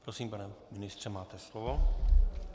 Prosím, pane ministře, máte slovo.